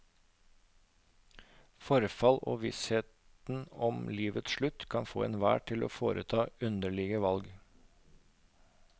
Forfall og vissheten om livets slutt kan få enhver til å foreta underlige valg.